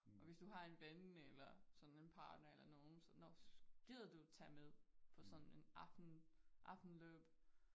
Og hvis du har en ven eller sådan en partner eller nogen så nåh gider du at tage med på sådan en aften aftenløb